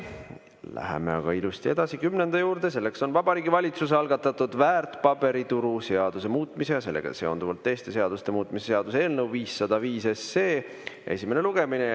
Läheme aga ilusti edasi kümnenda punkti juurde: Vabariigi Valitsuse algatatud väärtpaberituru seaduse muutmise ja sellega seonduvalt teiste seaduste muutmise seaduse eelnõu 505 esimene lugemine.